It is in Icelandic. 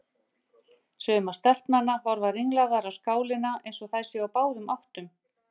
Sumar stelpnanna horfa ringlaðar á skálina eins og þær séu á báðum áttum.